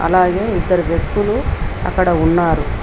అలాగే ఇద్దరు వ్యక్తులు అక్కడ ఉన్నారు.